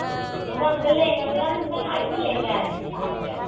ମୁଁ ଭାବୁଥିଲି ଲେହେଙ୍ଗା କରିଥାନ୍ତି ପୁଣି କହିଲି ନାଇଁ ସେ ଲେହେଙ୍ଗା ଆଣିବିନି ଶାଢୀ ଟେ ଆଣିବି